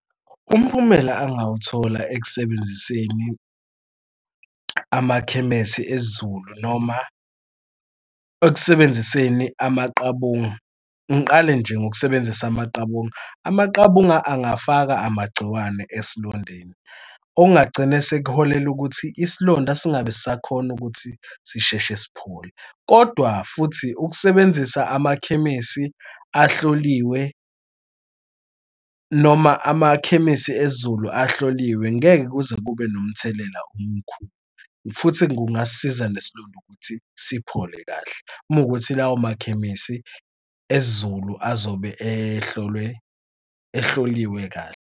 Umphumela angawuthola ekusebenziseni amakhemesi esiZulu noma ekusebenziseni amaqabunga, ngiqale nje ngokusebenzisa amaqabunga. Amaqabunga angafaka amagciwane esilondeni, okungagcina sekuholele ukuthi isilonda singabe sisakhona ukuthi sisheshe siphole. Kodwa, futhi ukusebenzisa amakhemisi ahloliwe noma amakhemisi esiZulu ahloliwe, ngeke kuze kube nomthelela omkhulu futhi kungasisiza nesilonda ukuthi siphole kahle mowukuthi lawo makhemikhali esiZulu azobe ehlolwe ehloliwe kahle.